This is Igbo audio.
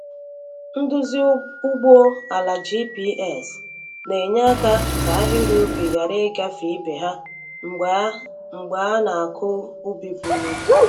Nduzi ugbo ala GPS na-enyeaka ka ahịrị ubi ghara ịgafe ibe ha mgbe a mgbe a na-akụ ubi buru ibu.